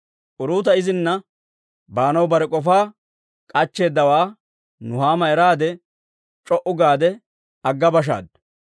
Uruuta izina baanaw bare k'ofaa k'achcheeddawaa Nuhaama eraade, c'o"u gaade agga bashaaddu.